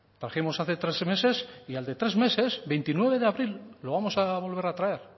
trajimos hace tres meses y al de tres meses veintinueve de abril lo vamos a volver a traer